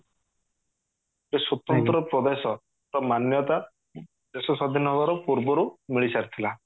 ଗୋଟେ ସ୍ଵତନ୍ତ୍ର ପ୍ରଦେଶ ର ମାନ୍ୟତା ଦେଶ ସ୍ଵାଧୀନ ହେବାର ପୂର୍ବରୁ ମିଳି ସାରିଥିଲା